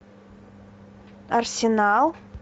арсенал